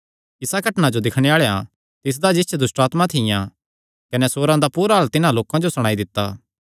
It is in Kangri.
इस घटनां जो दिक्खणे आल़ेआं तिसदा जिस च दुष्टआत्मां थियां कने सूअरां दा पूरा हाल तिन्हां लोकां जो सणाई दित्ता